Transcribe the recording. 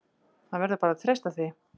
Hann verður bara að treysta því.